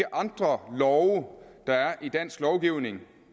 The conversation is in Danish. andre love der er i dansk lovgivning